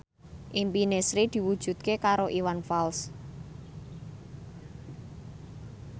impine Sri diwujudke karo Iwan Fals